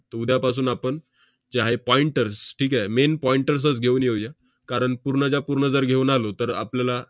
त~ उद्यापासून आपण जे आहे pointers ठीक आहे? main pointers च घेऊन येऊया. कारण पूर्णच्या पूर्ण जर घेऊन आलो, तर आपल्याला